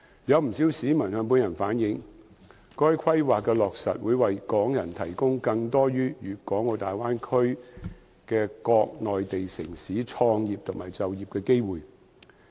有不少市民向本人反映，該規劃的落實會為港人提供更多於粵港澳大灣區的各內地城市創業和就業的機會。